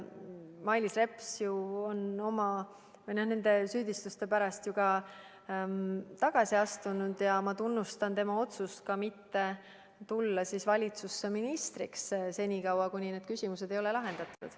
Mailis Reps on oma süüdistuste pärast tagasi astunud ja ma tunnustan tema otsust mitte tulla valitsusse ministriks senikaua, kuni need küsimused ei ole lahendatud.